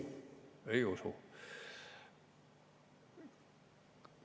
Ei usu!